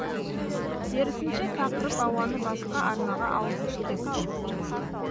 керісінше тақырып ауаны басқа арнаға ауысып кетті